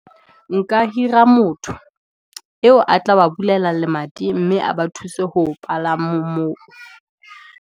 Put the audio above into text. Nka hira motho, eo a tla wa bulela lemati, mme a ba thuse ho palama moo.